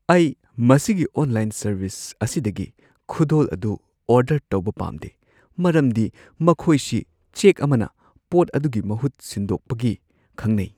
ꯑꯩ ꯃꯁꯤꯒꯤ online service ꯑꯁꯤꯗꯒꯤ ꯈꯨꯗꯣꯜ ꯑꯗꯨ ꯑꯣꯔꯗꯔ ꯇꯧꯕ ꯄꯥꯝꯗꯦ ꯃꯔꯝꯗꯤ ꯃꯈꯣꯏꯁꯤ ꯆꯦꯛ ꯑꯃꯅ ꯄꯣꯠ ꯑꯗꯨꯒꯤ ꯃꯍꯨꯠ ꯁꯤꯟꯗꯣꯛꯄꯒꯤ ꯈꯪꯅꯩ꯫